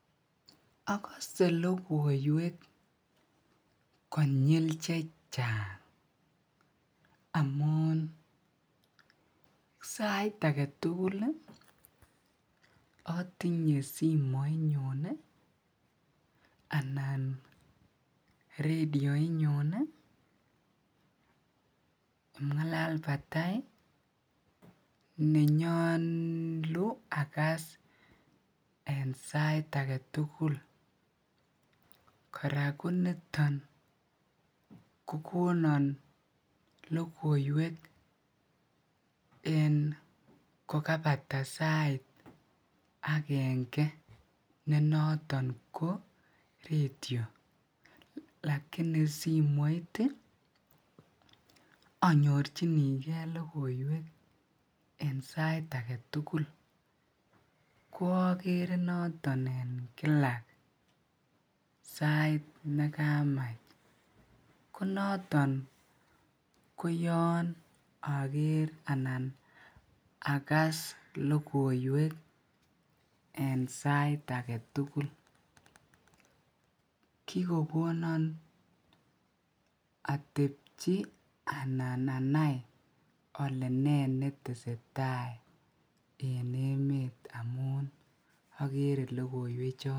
agose logoiweek konyiil chechaang amuun sait agetugul iih otinye simoit nyuun iih anan radioit nyuun iih pngalal batai nenyolu agaas en sait agetugul koraa koniton kogonon logoiweek en kogabata sait agenge ne noton ko ratyoo lakini simoit iih anyorchinigee logoiwek en sait agetugul , koogere noton en kila sait negamach konoton koyoon ageer anan agas logoiweek en sait agetugul, kigogonon atepchi anan anaai ole nee netesetai en emet amuun ogere logoiweek choton.